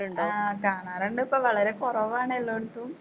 ആ കാണാറിണ്ടിപ്പൊ വളരെ കൊറവാണ് എല്ലാടത്തും.